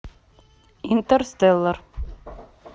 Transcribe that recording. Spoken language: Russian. интерстеллар